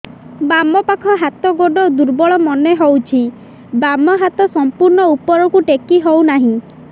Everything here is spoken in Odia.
ବାମ ପାଖ ହାତ ଗୋଡ ଦୁର୍ବଳ ମନେ ହଉଛି ବାମ ହାତ ସମ୍ପୂର୍ଣ ଉପରକୁ ଟେକି ହଉ ନାହିଁ